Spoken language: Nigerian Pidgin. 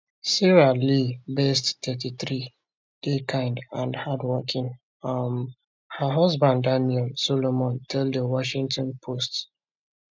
sarah lee best 33 dey kind and hardworking um her husband daniel solomon tell di washington post